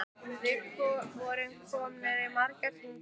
Við vorum komnir í marga hringi.